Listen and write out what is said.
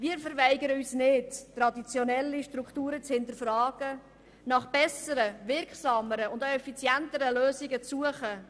Wir weigern uns nicht, traditionelle Strukturen zu hinterfragen und nach besseren, wirksameren und auch effizienteren Lösungen zu suchen.